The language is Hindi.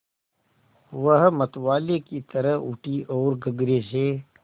वह मतवाले की तरह उठी ओर गगरे से